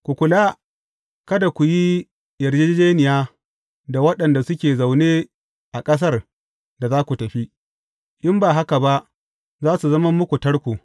Ku kula, kada ku yi yarjejjeniya da waɗanda suke zaune a ƙasar da za ku tafi, in ba haka ba, za su zama muku tarko.